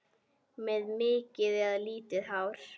Með mikið eða lítið hár?